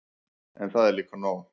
En það er líka nóg.